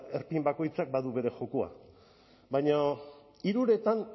erpin bakoitzak badu bere jokoa baina hiruretan